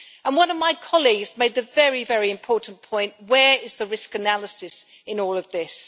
One of my colleagues made a very important point where is the risk analysis in all of this?